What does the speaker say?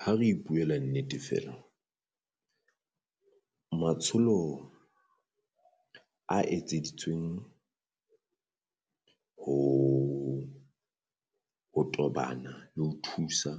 Ha re ipuela nnete feela matsholo a etseditsweng ho ho tobana le ho thusa